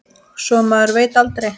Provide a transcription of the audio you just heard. Svo maður veit aldrei.